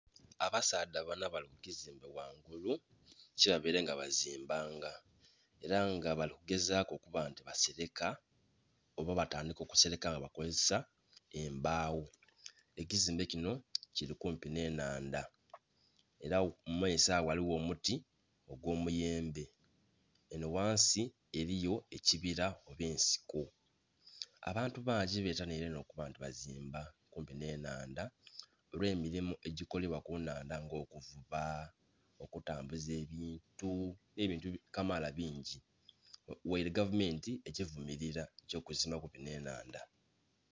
Abasaadha bana bali ku kizimbe ghangulu kyebabaile nga bazimbanga. Ela nga bali kugezaaku okuba nti baseleka oba batandika okuseleka nga bakozesa embaawo. Ekizimbe kino kili kumpi nh'ennhandha. Ela mu maiso agho ghaligho omuti gw'omuyembe. Enho ghansi eliyo ekibila nh'ensiko. Abantu bangi betanhiile inho okuba nti bazimba kumpi nh'ennhandha olw'emilimu egikolebwa ku nnhandha nga okuvuba, okutambuza ebintu, nh'ebintu kamaala bingi; ghaile gavumenti ekivumilila eky'okuzimba kumpi nh'ennhandha.